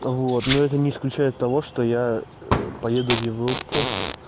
вот но это не исключает того что я поеду в европу